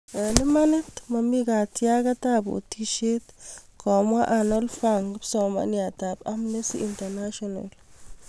Eng' imanit, mami katyaaget ap otisieet, komwaa Arnold fang kipsomaniniat ap Amnesty International